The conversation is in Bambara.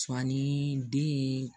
Sɔn ani den